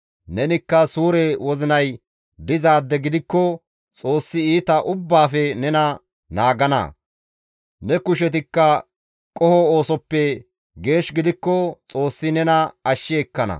Nenikka suure wozinay dizaade gidikko Xoossi iita ubbaafe nena naagana; ne kushetikka qoho oosoppe geesh gidikko Xoossi nena ashshi ekkana.»